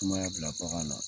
Sumaya bila bagan na.